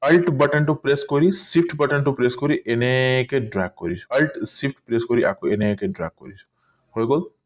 button press কৰি shift button press কৰি এনেকে dark কৰিছো shift press কৰি আকৌ এনেকে dark কৰিছো হৈ গল